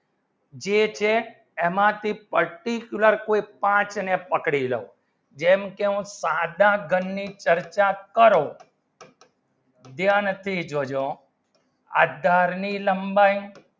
જે થઈ એમાં થી particular ની કોઈ path ની પકડી દો જે નું સાંધા ઘણ ની ચર્ચા કરો દેઆર નથી જો જો આધાર ની લંબાઈ